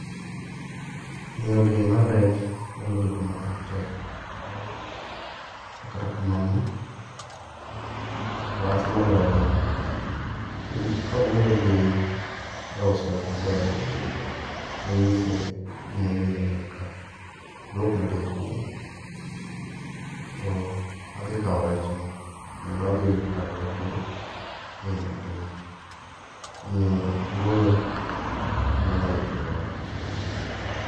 Mino bei mar rech nyalo bedo matek to kata kamano, wach ema loyo dhano. Kawuoyo gi jaus rech maber manyise gima omiyo nyaka oduokna bei piny, to adhi kawo rech no, kendo adhi kawe gi bei mapiny. Omiyo wuoyo ema nyalo kelo wach machalo kamano.